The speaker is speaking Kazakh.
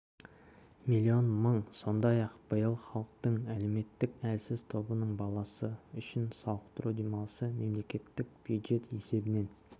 млн мың сондай-ақ биыл халықтың әлеуметтік әлсіз тобының баласы үшін сауықтыру демалысы мемлекеттік бюджет есебінен